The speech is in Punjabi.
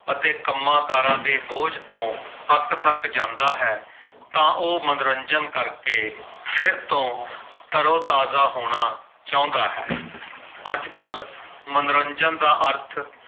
ਅਤੇ ਕੰਮਕਾਰਾਂ ਦੇ ਬੋਝ ਤੋਂ ਅੱਕਥੱਕ ਜਾਂਦਾ ਹੈ। ਤਾਂ ਉਹ ਮਨੋਰੰਜਨ ਕਰ ਕੇ ਫਿਰ ਤੋਂ ਤਰੋ-ਤਾਜ਼ਾ ਹੋਣਾ ਚਾਹੁੰਦਾ ਹੈ ਅੱਜਕੱਲ ਮਨੋਰੰਜਨ ਦਾ ਅਰਥ